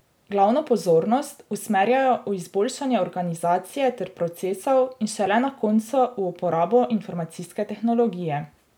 Glavno pozornost usmerjajo v izboljšanje organizacije ter procesov in šele na koncu v uporabo informacijske tehnologije.